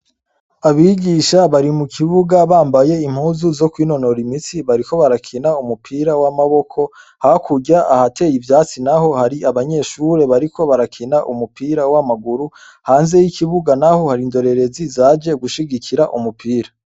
Abigisha bari mukibuga bambaye impuzu zo kwinonora imitsi bariko barakina umupira wamaboko hakurya ahateye ivyatsi naho hari abanyeshure bariko barakina umupira wamaguru hanze yikibuga hari indorerezi zaje gukina umupira